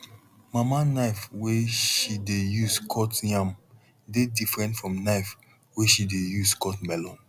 mama knife wey she dey use cut yam dey different from knife wey she dey use cut melon